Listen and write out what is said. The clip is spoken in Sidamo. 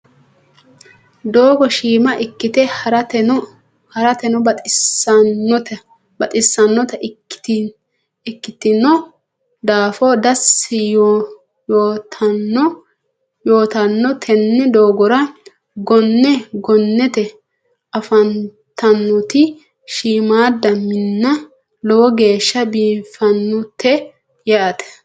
doogo shiima ikite haratenno bexisanota ikitinno daafo dasi yotanno tenne doogora gonne gonnete afantannoti shiimada minna lowo geesha biifannote yaate.